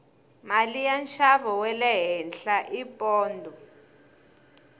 mali ya nxavo wale henhla i pondho